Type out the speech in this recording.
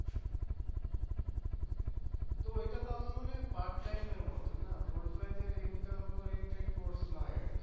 তো এটা তো আমার মনে হয় এর মত না এর নয় এটা